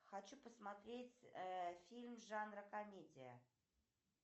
хочу посмотреть фильм жанра комедия